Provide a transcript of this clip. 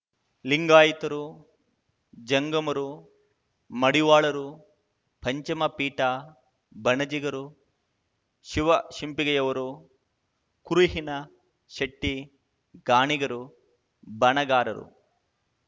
ಲಿಂಗಾಯಿತರು ಜಂಗಮರು ಮಡಿವಾಳರು ಪಂಚಮ ಪೀಠ ಬಣಜಿಗರು ಶಿವ ಶಿಂಪಿಗೆಯವರು ಕುರುಹಿನ ಶೆಟ್ಟಿ ಗಾಣಿಗರು ಬಣಗಾರರು